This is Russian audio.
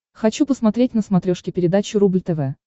хочу посмотреть на смотрешке передачу рубль тв